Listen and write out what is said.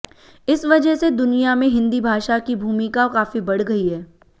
इस वजह से दुनिया में हिंदी भाषा की भूमिका काफी बढ़ गई है